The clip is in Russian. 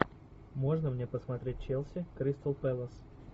можно мне посмотреть челси кристал пэлас